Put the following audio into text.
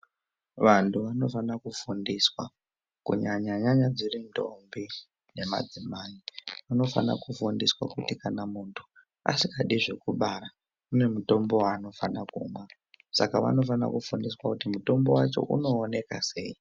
Vantu vanofanira kufundiswa kunyanya-nyanya dziri ndombi nemadzimai. Vanofana kufundiswa kuti kana muntu asikadi zvekubara ane mutombo vaanofanira kumwa. Saka vanofana kufundiswa kuti mutombo vacho unooneka sei.